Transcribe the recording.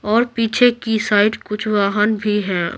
और पीछे की साइड कुछ वाहन भी हैं।